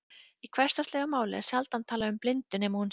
Í hversdagslegu máli er sjaldan talað um blindu nema hún sé varanleg.